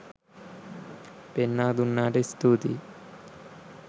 පෙන්නා දුන්නාට ස්තූතියි.